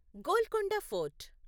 Golconda fort